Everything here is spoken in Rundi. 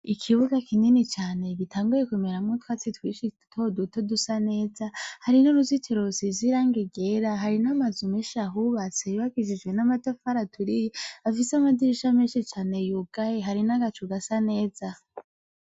Ikibuga kinini cane gitanguye kumeramwo utwatsi twinshi dutoduto dusa neza, hari n'uruzitiro rusize irangi ryera, hari n'amazu menshi ahubatse yubakishijwe amatafari aturiye afise amadirisha menshi cane yugaye, hari n'agacu gasa neza.